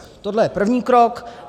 Tohle je první krok.